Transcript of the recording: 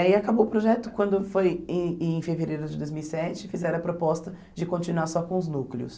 Aí acabou o projeto quando foi em em fevereiro de dois mil e sete, fizeram a proposta de continuar só com os núcleos.